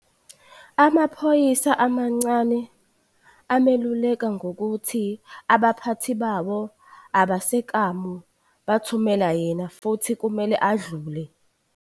Amaphoyisa amancane ameluleka ngokuthi abaphathi bawo abasekamu bathumele yena futhi kumele adlule.